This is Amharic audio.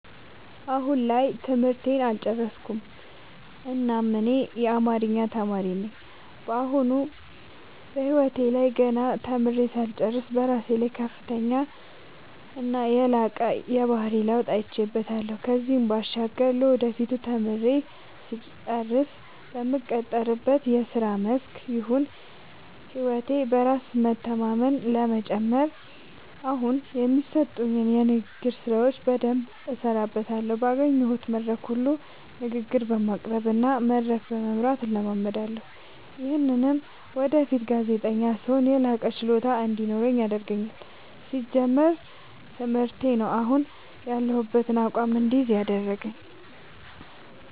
አሁን ላይ ትምህርቴን አልጨረስኩም እናም እኔ አማሪኛ ተማሪ ነኝ በአሁኑ በህይወቴ ላይ ገና ተምሬ ሳልጨርስ በራሴ ላይ ከፍተኛና የላቀ የባህሪ ለውጥ አይቼበታለው ከዚህም ባሻገር ለወደፊቱ ወይም ተምሬ ስጨርስ በምቀጠርበት የስራ መስክ ይሁን ህይወቴ በራስ በመተማመን ለመጨመር አሁኒ የሚሰጡኝን የንግግር ስራዎች በደምብ እሠራበታለሁ ባገኘሁት መድረክ ሁሉ ንግግር በማቅረብ እና መድረክ በመምራት እለማመዳለሁ። ይምህም ወደፊት ጋዜጠኛ ስሆን የላቀ ችሎታ እንዲኖረኝ ያደርገኛል። ሲጀመር ትምህርቴ ነው። አሁን ያሁበትን አቋም እድይዝ ያደረገኝ።